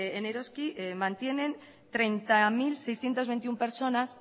en eroski mantienen treinta mil seiscientos veintiuno personas